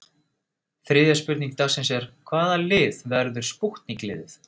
Þriðja spurning dagsins er: Hvaða lið verður spútnik liðið?